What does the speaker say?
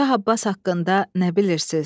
Şah Abbas haqqında nə bilirsiz?